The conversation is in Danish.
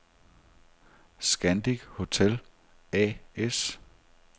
Scandic Hotel A/S